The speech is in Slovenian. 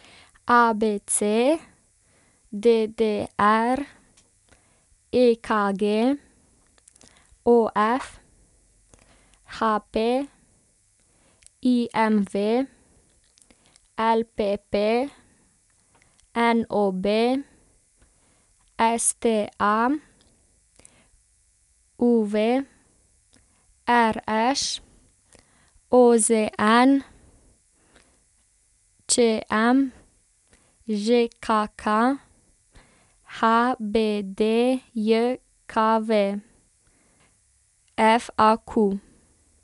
A B C; D D R; E K G; O F; H P; I M V; L P P; N O B; S T A; U V; R Š; O Z N; Č M; Ž K K; H B D J K V; F A Q.